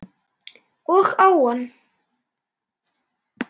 Og á hann.